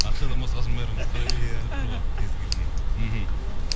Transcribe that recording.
ақшадан басқасының бәрін сұрай беріңдер деп тұр ғой кез келген мхм